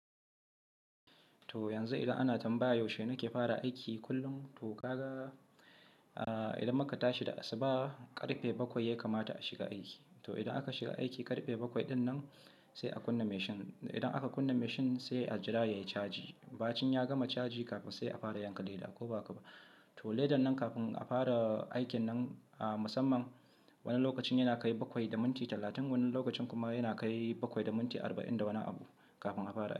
To yanzu idan ana tambaya yaushe nake fara aiki, kullum to kaga idan muka tashi da asuba karfe bakwai ya kamata a shiga aiki. To idan aka shiga aiki karfe bakwai dinnan sai a kunna mashin, idan aka kunna mashin sai ajira yayi caji. Bacin ya gama caji kafin sai a fara yanka leda koba haka ba. To ledan nan kafin a fara aikin nan a musamman wani lokacin yana kai bakwai da minti talatin, wani lokacin kuma yana kai bakwai da minti arba'in da wani abu kafin a fara aiki.